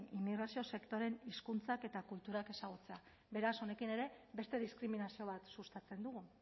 immigrazio sektoreen hizkuntzak eta kulturak ezagutzea beraz honekin ere beste diskriminazio bat sustatzen dugu